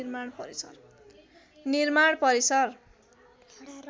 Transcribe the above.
निर्माण परिसर